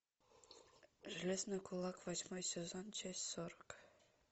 железный кулак восьмой сезон часть сорок